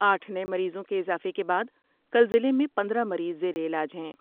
آٹھ نئے مریضوں کے اضافے کے بعد کل ضلع میں پندرہ مریض زیر علاج ہیں ۔